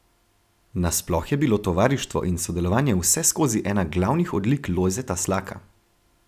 Na sploh je bilo tovarištvo in sodelovanje vseskozi ena glavnih odlik Lojzeta Slaka.